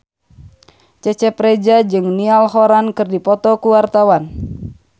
Cecep Reza jeung Niall Horran keur dipoto ku wartawan